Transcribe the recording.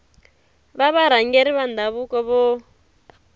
va varhangeri va ndhavuko vo